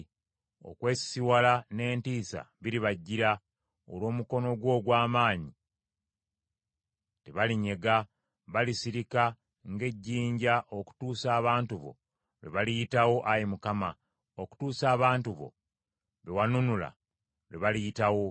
Okwesisiwala n’entiisa biribajjira. Olw’omukono gwo ogw’amaanyi tebalinyega, balisirika ng’ejjinja okutuusa abantu bo lwe baliyitawo, Ayi Mukama , okutuusa abantu bo, be wanunula, lwe baliyitawo.